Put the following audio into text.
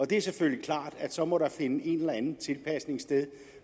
det er selvfølgelig klart at så må der finde en eller anden tilpasning sted